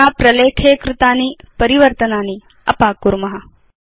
अधुना प्रलेखे कृतानि परिवर्तनानि अपाकुर्म